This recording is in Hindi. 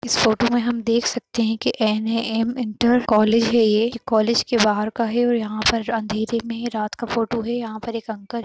इस फोटो में हम देख सकते हैं की एन.ये.एम इन्टर कॉलेज है ये। ये कॉलेज के बाहर का है और ये अँधेरे में रात का फोटो है। यहाँ पर एक अंकल --